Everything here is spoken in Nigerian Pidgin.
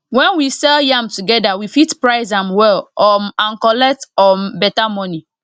when we sell yam together we fit price am well um and collect um better money